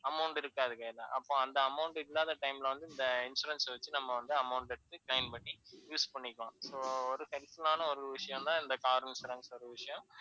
amount இருக்காது கையில. அப்போ அந்த amount இல்லாத time ல வந்து இந்த insurance அ வச்சு நம்ம வந்து amount எடுத்து, claim பண்ணி use பண்ணிக்கலாம். so tension ஆன ஒரு விஷயம் தான் இந்த car insurance ன்ற விஷயம்.